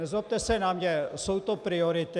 Nezlobte se na mě, jsou to priority.